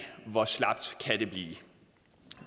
hvor slapt kan det blive